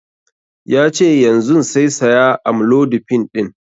Yace yanzun sai saya amlodipine ɗin